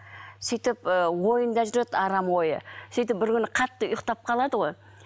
сөйтіп ы ойында жүреді арам ойы сөйтіп бір күні қатты ұйықтап қалады ғой